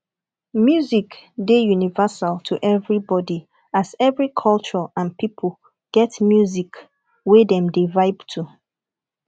music dey universal to everybody as every culture and pipo get music wey dem dey vibe to